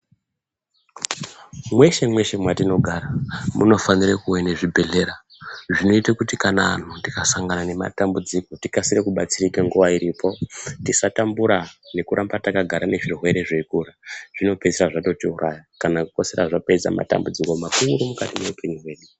Mweshe mweshe mwatinogara munofanire kuve ne zvibhedhlera zvinoite kuti kana anhu tikasangane nematambudzIko tikase kubatsirika nguwa iripo tisatambura nekuramba nezvirwere zveikura zvinopeisira zvatiiraya kana kupeisira zvakonzera matambudziko makuru mukati mweupenyu hwedu.